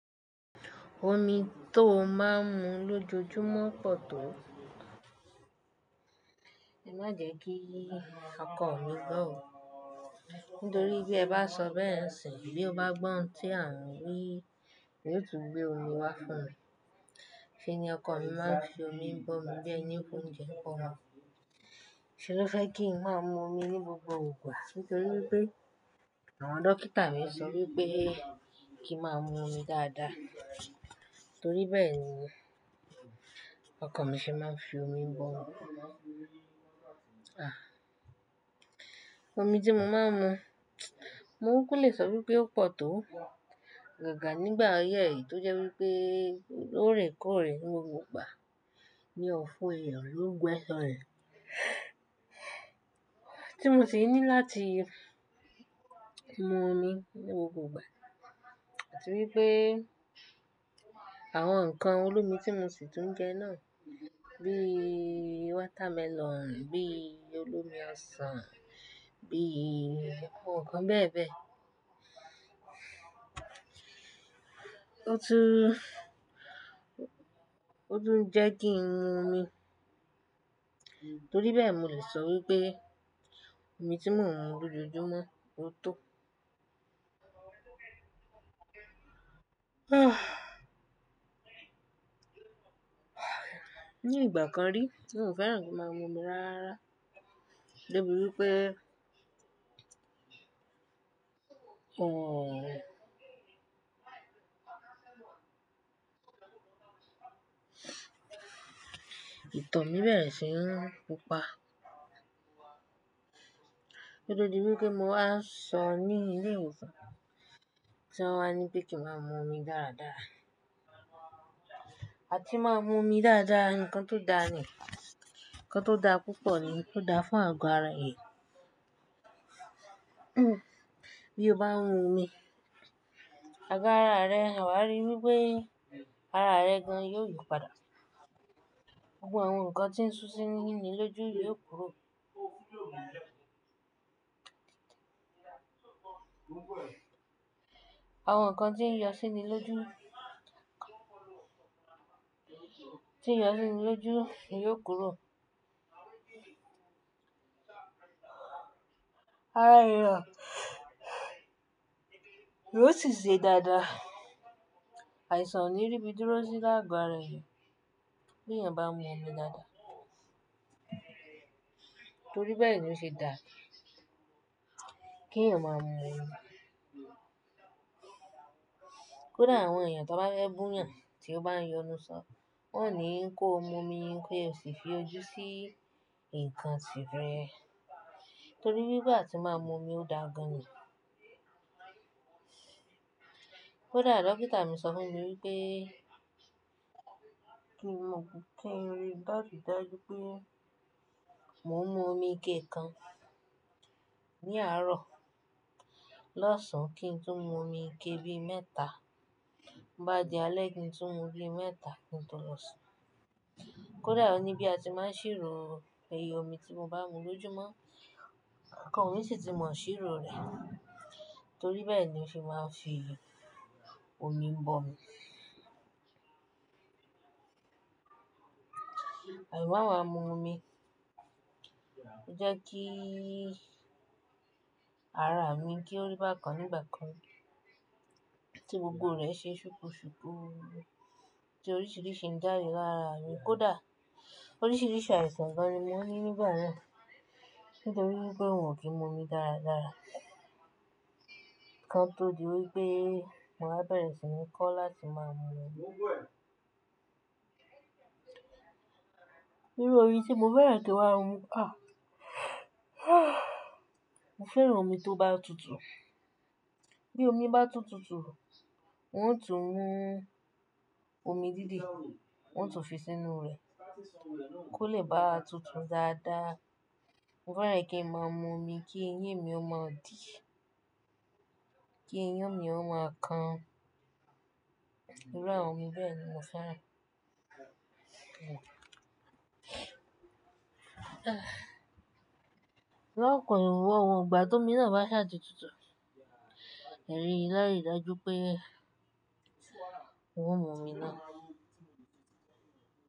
Omi tó máa ń mu lójoojúmọ́ pọ̀ tó. Má jẹ́ kí ọkọ mi gbọ́ o, nítorí bí ẹ bá sọ bẹ́ẹ̀ nisìn, bí ó bá gbọ́ ohun tí à n wí yóò tún gbé omi wá fún mi. Sí ni ọkọ mi máa ń fi omi bọ̀ mí biẹ̀ni pé oúnjẹ kọ́ wọn. Ṣé ló fẹ́ kí n máa mu omi ní gbogbo ìgbà? Nítorí pé àwọn dókítà mi sọ wípé kí n máa mu omi dáadáa. Nítorí bẹ́ẹ̀ ni ọkọ mi ṣe máa ń fi omi bọ̀ mi. Omi tí mo máa ń mu, mo kúkú lè sọ wípé ó pọ̀ tó. Àgàgà nígbà ọọyé yìí tó jẹ́ wípé lóòrèkóòrè ní gbogbo ìgbà. Ni ọ̀fun èèyàn ló gbẹ́sàn rẹ̀. Tí mo sì ní láti mu omi ní gbogbo ìgbà. Torí pé àwọn ǹkan olómi tí mo sì tún jẹ náà bí watermelon, bí olómi ọsàn, bí àwọn ǹkan bẹ́ẹ̀ bẹ́ẹ̀. Ó tún, ó tún jẹ́ kí n mu omi. Torí bẹ́ẹ̀ mo lè sọ wípé omi tí mò ń mu lójoojúmọ́ ó tọ́. Ní ìgbà kan rí tí NG o fẹ́ràn kí n máa mu omi rara débíi wípé, ẹ̀ẹ̀, ìtọ́ mi bẹ́rẹ̀ sì ń púpa. Kó tó di wípé mo wá sọ ní ilé ìwòsàn tí wọ́n á ní pé kí n máa mu omi dáadáa. Àti máa mu omi dáadáa nǹkan tó dáa ni, nǹkan tó dáa púpọ̀ ni, ó dáa fún àgọ́ ara èèyàn. Bí o bá ń mu omi, àgọ́ ara rẹ, wá rí wípé ara rẹ gan yóò yípadà. Gbogbo àwọn nǹkan tí ń ṣu síni lóju ni yóò kúrò. Àwọn nǹkan tí ń yọ sí inú lóju, tí ń yọ sí ni lóju ni yóò kúrò. Ara rẹ yóò sì ṣe dáadáa. Àìsàn ò ní rí bí dúró sí láàgọ́ ara èèyàn bí èèyàn bá ń mu omi dáadáa. Torí bẹ́ẹ̀ ni ó ṣe dáa kí èèyàn máa ń mu omi. Kódà àwọn èèyàn tó bá ńfẹ bù yàn tí ó bá ń yọnu sọ́n, wọ́n ò ní kó mu omi kí ẹ sì fi ojú sí ǹkan tirẹ́ẹ̀. Torí bí gbà tí máa mu omi ó dáa gan ni. Kódà dókítà mi sọ fún mi wípé kí n mu Kìń riì ní àrí dájú pé mò ń mu omi ike kan ní àárọ̀ lọ́sàn án kí n tún mu omi ike bí mẹ́ta bobá di alẹ́ kí n tún mu bí mẹ́ta kí n tó lọ sùn. Kódà o ní bí a ti máa ń ṣírò iye omi tí mo bá mu lóúmọ́, ọkọ mi sì ti mọ̀ ṣírò rẹ̀ torí bẹ́ẹ̀ ni ó ṣe máa ń fi omi bọ̀ mi. Àì má wá mu omi, ó jẹ́ kí ara mi kí ó rí bákan nígbà kan tí gbogbo rẹ̀ ṣe ṣùkú ṣùkú, tí oríṣìíríṣìí ń jáde lára mi. Kódà oríṣìíríṣìí àìsàn gan ni mo ní nígbà náà nítorí wípé ng o kí ń mu omi dáradára. Kan tó di wípé mo wá bẹ̀rẹ̀ sí ní kọ́ láti máa mu omi. Írú omí tí mo fẹ́ràn kí n'ma mu mo fẹ́ran omi tó bá tutù. Bí omi bá tún tutù, wọ́n ó tún mu omi dídì, wọ́n ó tún fi sínú rẹ̀ kó lè bá tutù dáadáa. Mo fẹ́ràn kí n máa ń mu omi kí eyín mi ó máa dì, kí eyín mi ó máa kan. Irú àwọn omi bẹ́ẹ̀ ni mo fẹ́ràn. Lọ́kàn ní wọ́n wọ̀n, ìgbà tó míràn bá rẹ́ àti tutù, ẹni lárì dajú pé n o mú omi náà.